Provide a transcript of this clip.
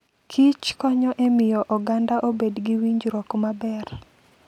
Kich konyo e miyo oganda obed gi winjruok maber.